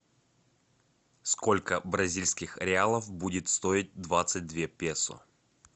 сколько бразильских реалов будет стоить двадцать две песо